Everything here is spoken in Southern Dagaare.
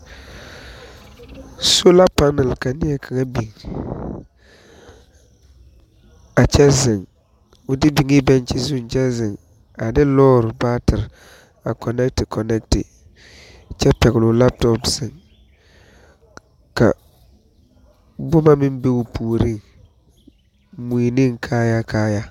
Soolapɛnɛl ka neɛkaŋa biŋ, o de biŋee bɛgkye zuŋ kyɛ ziŋ a lɔɔre baatire a kɔnɛɛti kɔnɛɛti kyɛ pɛgli o lapotɔɔl ziŋ ,ka boma meŋ be o puoriŋ moi ne kaayaa kaayaa.